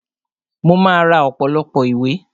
Mo máa ra ọ̀pọ̀lọpọ̀ ìwé